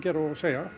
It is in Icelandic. segja